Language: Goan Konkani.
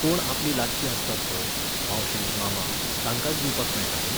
कोण आपलीं लागचीं आसतात पळय, मावशी मामा, तांकांच दिवपाक मेळटा न्ही.